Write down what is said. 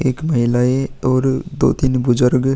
एक महिलाएं और दो तीन बुजर्ग --